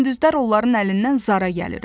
Gündüzlər onların əlindən zara gəlirəm.